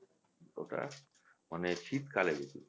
ওটা মানে শীতকালে বেশি হয়